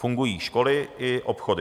Fungují školy i obchody.